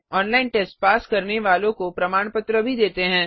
online test pass करने वालों को प्रमाण पत्र भी देते हैं